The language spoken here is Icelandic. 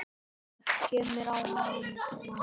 Það kemur á hana.